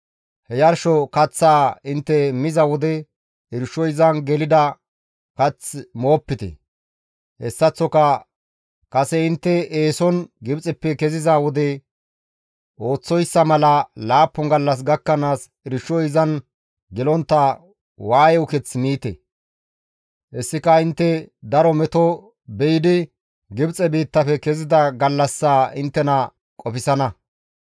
He yarsho kaththaa intte miza wode irshoy izan gelida kath moopite; hessaththoka kase intte eeson Gibxeppe keziza wode ooththoyssa mala laappun gallas gakkanaas irshoy izan gelontta waaye uketh miite; hessika intte daro meto be7idi Gibxe biittafe kezida gallassaa inttena qofsana.